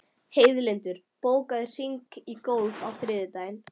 Heiðlindur, bókaðu hring í golf á þriðjudaginn.